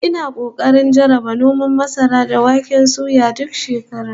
Ina kokarin jarraba noman masara da wake duk shekara